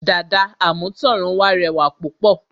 Dàda àmútọ̀runwá rẹwà púpọ̀